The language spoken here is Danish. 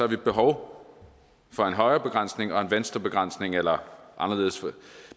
vi behov for en højre og venstrebegrænsning eller anderledes